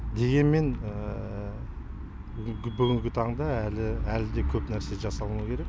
дегенмен бүгінгі таңда әлі әлі де көп нәрсе жасалынуы керек